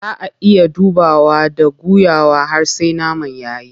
Zaa ayi ta dubawa and guyawa har sai naman yayi.